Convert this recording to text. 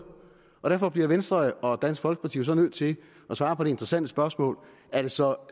og derfor bliver venstre og dansk folkeparti nødt til at svare på det interessante spørgesmål er det så